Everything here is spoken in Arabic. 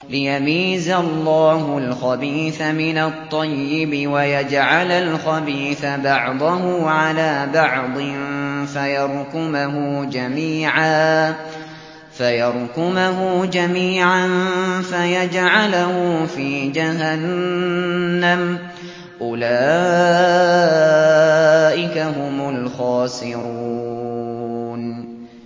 لِيَمِيزَ اللَّهُ الْخَبِيثَ مِنَ الطَّيِّبِ وَيَجْعَلَ الْخَبِيثَ بَعْضَهُ عَلَىٰ بَعْضٍ فَيَرْكُمَهُ جَمِيعًا فَيَجْعَلَهُ فِي جَهَنَّمَ ۚ أُولَٰئِكَ هُمُ الْخَاسِرُونَ